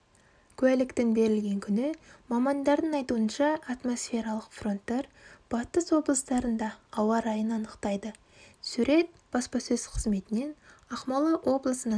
куәліктің берілген күні мамандардың айтуынша атмосфералық фронттар батыс облыстарындаауа райын анықтайды сурет баспасөз қызметінен ақмола облысының